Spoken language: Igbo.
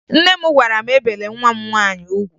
Nne m gwara m ebele nwa m nwaanyị ugwu